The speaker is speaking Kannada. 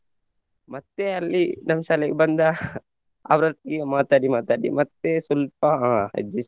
ಮತ್ತೆ ಅಲ್ಲಿ ನಮ್ಮ್ ಶಾಲೆಗೆ ಬಂದ ಅವರೊಟ್ಟಿಗೆ ಮಾತಾಡಿ ಮಾತಾಡಿ ಮತ್ತೆ ಸ್ವಲ್ಪ ಅಹ್ adjust .